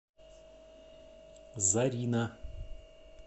зарина